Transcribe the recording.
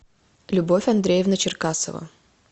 любовь андреевна черкасова